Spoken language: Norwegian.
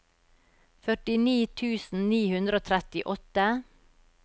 førtini tusen ni hundre og trettiåtte